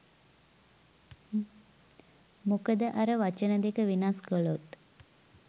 මොකද අර වචන දෙක වෙනස් කලොත්